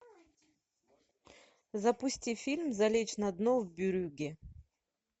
запусти фильм залечь на дно в брюгге